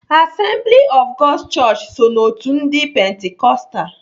Assembly Of God's chọọchị so n'otu ndị pentikostal.